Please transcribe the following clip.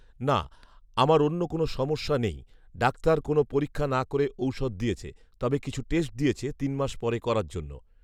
না, আমার অন্য কোন সমস্যা নেই৷ডাক্তার কোন পরীক্ষা না করে ঔষধ দিয়েছে৷ তবে কিছু টেষ্ট দিয়েছে তিন মাস পরে করার জন্য৷